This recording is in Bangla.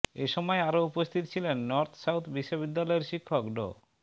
এসময় আরও উপস্থিত ছিলেন নর্থ সাউথ বিশ্ববিদ্যালয়ের শিক্ষক ড